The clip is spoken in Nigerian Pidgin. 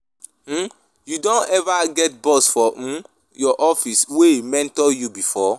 um You don eva get boss for um your office wey mentor you before?